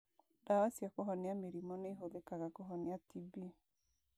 Ndawa cia kũhonia mĩrimũ nĩ ĩhũthĩkaga kũhonia TB.